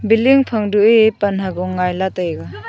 billing phang to e pan hago ngaila taiga.